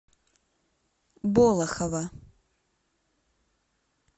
болохово